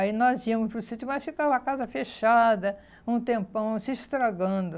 Aí nós íamos para o sítio, mas ficava a casa fechada um tempão, se estragando.